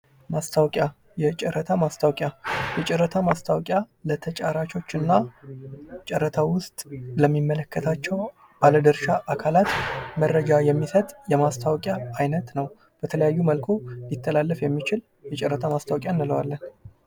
ማስታወቂያ የጨረታ ማስታወቂያ የጨረታ ማስታወቂያ ለተጫራቾች እና ጨረታው ውስጥ ለሚመለከታቸው ባለድርሻ አካላት መረጃ የሚሰጥ የማስታወቂያ አይነት ነው:: በተለያዩ መልኩ ሊተላለፍ የሚችል የጨረታ ማስታወቂያ እንለዋለን ::